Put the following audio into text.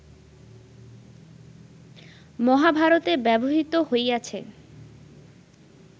মহাভারতে ব্যবহৃত হইয়াছে